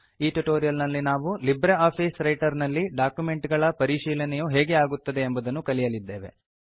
ಈ ಟ್ಯುಟೋರಿಯಲ್ ನಲ್ಲಿ ನಾವು ಲಿಬ್ರೆ ಆಫೀಸ್ ರೈಟರ್ ನಲ್ಲಿ ಡಾಕ್ಯುಮೆಂಟ್ ಗಳ ಪರಿಶೀಲನೆಯು ಹೇಗೆ ಆಗುತ್ತವೆ ಎಂಬುದನ್ನು ಕಲಿಯಲಿದ್ದೇವೆ